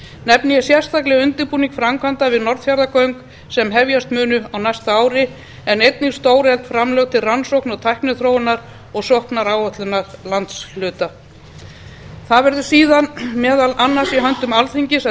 nefni ég sérstaklega undirbúning framkvæmda við norðfjarðargöng sem hefjast munu á næsta ári en einnig stórefld framlög til rannsókna og tækniþróunar og sóknaráætlana landshluta það verður síðan meðal annars í höndum alþingis að